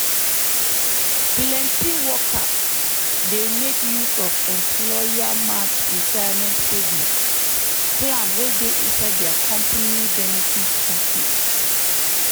plenty workers dey make use of employer-matched retirement savings plan wey dey inside their company benefit package.